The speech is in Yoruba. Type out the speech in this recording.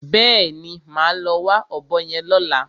Bẹ́ẹ̀ni, màá lọ wá ọ̀bọ yẹn lọ́la.